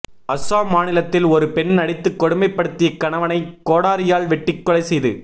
அஸ்ஸாம் மாநிலத்தில் ஒரு பெண் அடித்து கொடுமைப்படுத்திய கணவனை கோடாரியால் வெட்டி கொலை செய்து